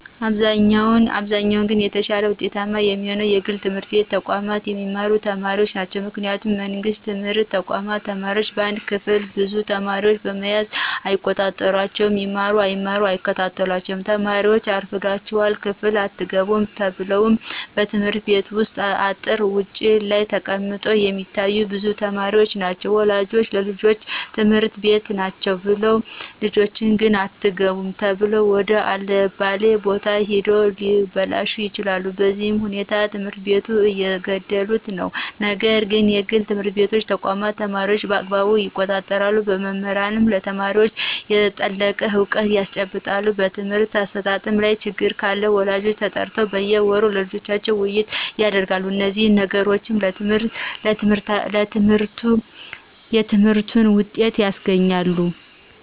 በአብዛኛው ግን የተሻለ ውጤታማ የሚሆኑት የግል ትምህርት ተቋማት የሚማሩ ተማሪዎች ናቸው ምክንያቱም የመንግስት ትምህርት ተቋማት ተማሪዎች በአንድ ክፍል ብዙ ተማሪዎችን በመያዝ አይቆጣጠሯቸውም ይማሩ አይማሩ አይከታተሏቸውም ተማሪዎችን አርፍዳችሗል ክፍል አትገቡም ተብለው በየትምህርት ቤቱ አጥር ውጭ ላይ ተቀምጠው የሚታዮ ብዙ ተማሪዎች ናቸው ወላጆች ልጆች ትምህርት ቤት ናቸው ብለው ልጆች ግን አትገቡም ተብለው ወደ አለባሌ ቦታ ሂደው ሊበላሹ ይችላሉ በዚህ ሁኔታ ትምህርቱን እየገደሉት ነው ነገር ግን የግል ትምህርት ተቋማት ተማሪዎችን በአግባቡ ይቆጣጠራሉ መምህራንም ለተማሪዎች የጠለቀ እውቀት ያስጨብጣሉ በትምህርት አሰጣጡ ላይ ችግር ካለ ወላጆች ተጠርተው በየወሩ ስለልጆቻቸው ውይይት ያደርጋሉ እነዚህ ነገሮች የትምህርትን ውጤት ያስገኛሉ